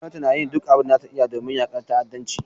Gwamnati na yin duk abin da za ta iya domin yakar ta'addanci.